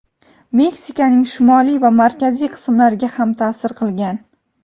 Meksikaning shimoliy va markaziy qismlariga ham ta’sir qilgan.